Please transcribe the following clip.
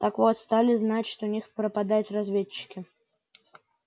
так вот стали значит у них пропадать разведчики